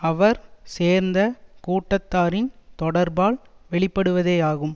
அவர் சேர்ந்த கூட்டத்தாரின் தொடர்பால் வெளிப்படுவதேயாகும்